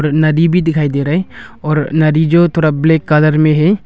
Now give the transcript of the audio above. नदी भी दिखाई दे रही और नदी जो थोड़ा ब्लैक कलर में है।